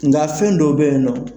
Nga fɛn dɔ be yen nɔ